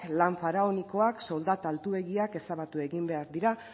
lan faraonikoak soldata altuegiak ezabatu behar dira